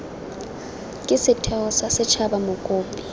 ke setheo sa setshaba mokopi